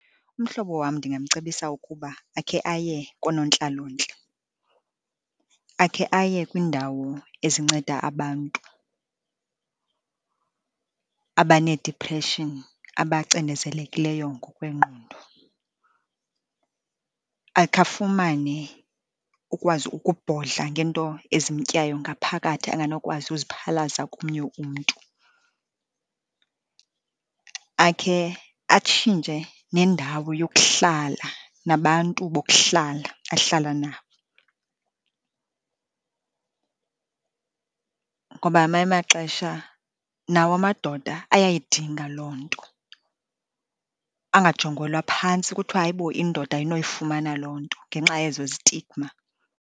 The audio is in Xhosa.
Umhlobo wam ndingamcebisa ukuba akhe aye koonontlalontle, akhe aye kwiindawo ezinceda abantu abanedipreshini, abacinezelekileyo ngokwengqondo. Akhe afumane ukwazi ukubhodla ngeento ezimtyayo ngaphakathi anganokwazi uziphalaza komnye umntu. Akhe atshintshe nendawo yokuhlala, nabantu bokuhlala ahlala nabo. Ngoba ngamanye amaxesha nawo amadoda ayayidinga loo nto, angajongelwa phantsi kuthiwe hayibo indoda ayinoyifumana loo nto, ngenxa yezo zitigma.